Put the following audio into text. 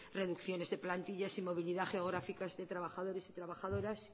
reducciones de plantillas y movilidad geográficas de trabajadores y trabajadoras